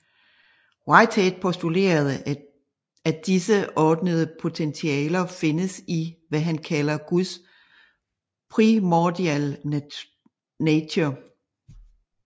Whitehead postulerede at disse ordnede potentialer findes i hvad han kalder guds primordial nature